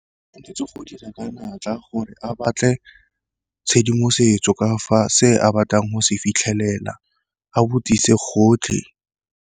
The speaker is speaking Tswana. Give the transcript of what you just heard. go dira ka natla gore a batle tshedimosetso ka fa se a batlang go se fitlhelela, a botsise gotlhe.